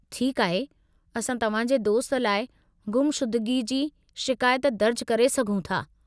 ठीकु आहे, असां तव्हां जे दोस्त लाइ गुमशुदिगी जी शिकायत दर्जु करे सघूं था।